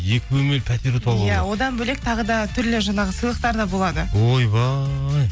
екі бөлмелі пәтер ұтып алуға болады иә одан бөлек тағы да түрлі жаңағы сыйлықтар да болады ойбай